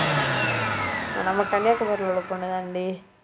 அஹ் நம்ம கன்னியாகுமரியில உள்ள பொண்ணுதான்டி